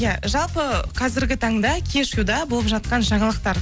иә жалпы қазіргі таңда кешьюда болып жатқан жаңалықтар